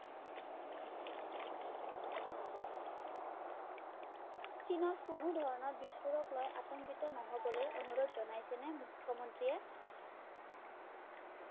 চীনত কোনোধৰণৰ বিষ্ফোৰককলৈ আতংকিত নহ'বলৈ অনুৰোধ জনাইছেনে মুখ্যমন্ত্ৰীয়ে